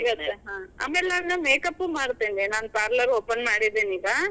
ಹಾ ಸಿಗತ್ತೆ, ಆಮ್ಯಾಲ್ ನಾನು makeup ಉ ಮಾಡ್ತೇನಿ. ನಾನ್ parlor open ಮಾಡಿದಿನೀಗ.